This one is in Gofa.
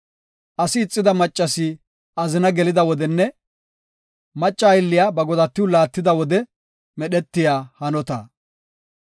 asi ixida maccasi azina gelida wodenne macca aylliya ba godatiw laattida wode medhetiya hanota.